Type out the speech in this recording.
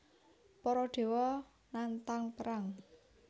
Para dewa nantang perang